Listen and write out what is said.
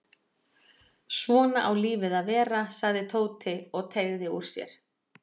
Svona á lífið að vera sagði Tóti og teygði úr sér.